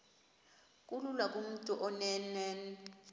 kulula kumntu onen